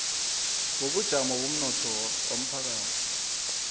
wobujamo bomnotho womphakathi